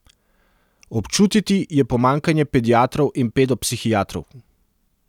Občutiti je pomanjkanje pediatrov in pedopsihiatrov.